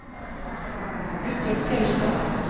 Guttorm Fjeldstad